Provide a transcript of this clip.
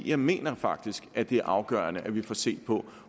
jeg mener faktisk at det er afgørende at vi får set på